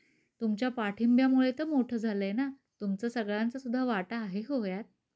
तुमच्या पाठिंब्यामुळे तर मोठ झालयं ना. तुमचा सगळ्यांचा सुद्धा वाटा आहे हो ह्यात.